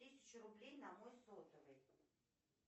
тысячу рублей на мой сотовый